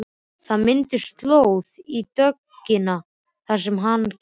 Það myndaðist slóð í dögg- ina þar sem hann gekk.